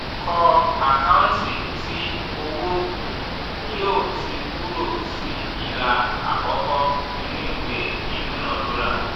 kọ́ àkáǹtì tí owó um yóò ti kúrò sí ìlà àkọ́kọ́ ìnú ìwé idúnadúrà.